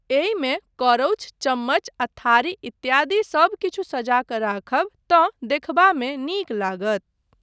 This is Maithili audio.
एहिमे करौछ, चम्मच आ थारी इत्यादि सबकिछु सजा कऽ राखब तँ देखबामे नीक लागत।